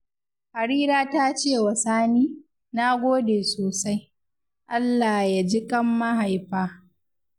Harira ta ce wa Sani, ‘na gode sosai, Allah ya ji ƙan mahaifa’